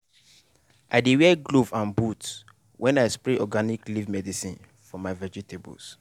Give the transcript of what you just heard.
i dey wear glove and boot when i spray organic leaf medicine for my vegetables.